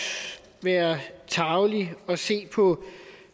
være tarvelig og se på